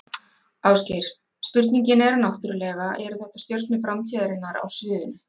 Ásgeir, spurningin er náttúrulega, eru þetta stjörnur framtíðarinnar á sviðinu?